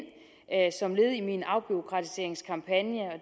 som led i min afbureaukratiseringskampagne